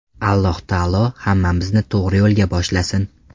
Alloh taolo hammamizni to‘g‘ri yo‘lga boshlasin!”